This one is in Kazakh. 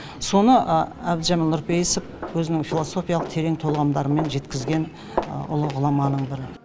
соны әбдіжәміл нұрпейісов өзінің философиялық терең толғамдарымен жеткізген ұлы ғұламаның бірі